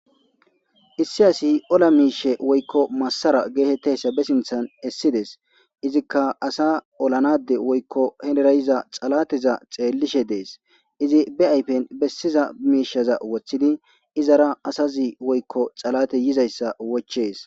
issi asi ola miishe woykko massara geetettayssa be sinthan essides izikka asa olanade woykko henerayiza xalateza xeellishe dees izi be ayfen bessiza miishaza woththidi izara asazi woykko xalate yizayssa wochees